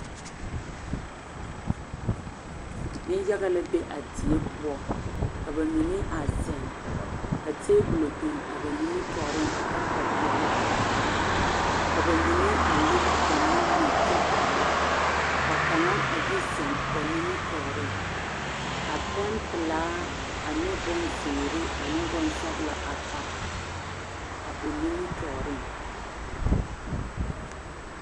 Niŋyaga la be a die poɔ ka ba mine a ziŋ ka tabolɔ a biŋ ba nimitɔɔriŋ ka karetaa peɛle a dɔgle ka ba mine a lere ba nuuri kyɛ are ka kaŋa a yi ziŋ ba nimitɔɔriŋ ka pɛmpilaa ane bonzeere ane boŋsɔglɔ a pare a o nimitɔɔriŋ .